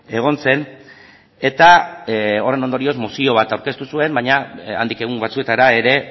egon zen eta horren ondorioz mozio bat aurkeztu zuen baina handik egun batzuetara ere